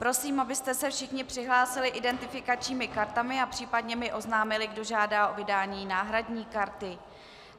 Prosím, abyste se všichni přihlásili identifikačními kartami a případně mi oznámili, kdo žádá o vydání náhradní karty.